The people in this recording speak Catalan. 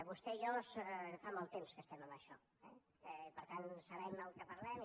vostè i jo fa molt temps que estem en això i per tant sabem del que parlem